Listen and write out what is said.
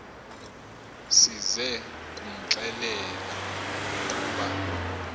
size kumxelela ukuba